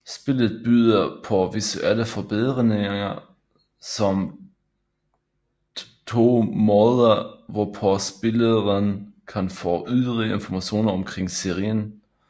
Spillet byder på visuelle forbedringer samt to måder hvorpå spilleren kan få yderligere informationer omkring serien